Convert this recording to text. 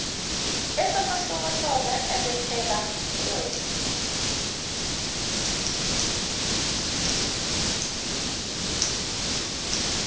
esamahlokohloko ebekela uweta